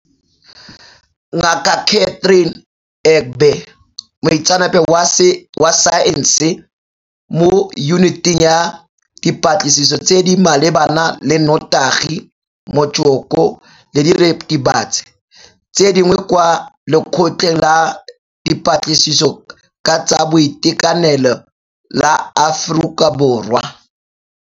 Ngaka Catherine Egbe, moitseanape wa saense mo Yuniting ya Dipatlisiso tse di Malebana le Notagi, Motsoko le Diritibatsi tse Dingwe kwa Lekgotleng la Dipatlisiso ka tsa Boitekanelo la Aforika Borwa.